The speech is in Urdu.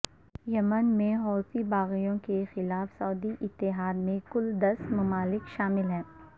یمن میں حوثی باغیوں کے خلاف سعودی اتحاد میں کل دس ممالک شامل ہیں